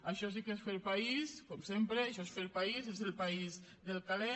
això sí que és fer país com sempre això és fer país és el país del caler